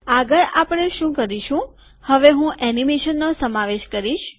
આગળ આપણે શું કરીશું કે હવે હું એનિમેશનનો સમાવેશ કરીશ